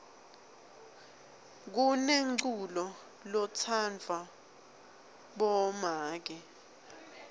kunenculo lotsandvwa bomake